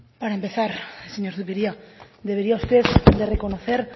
para empezar señor zupiria debería usted de reconocer